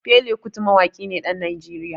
Fela Kuti Mawaƙi ne ɗan Najeriya.